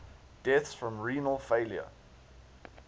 deaths from renal failure